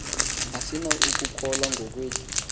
asinako ukukholwa ngokwethu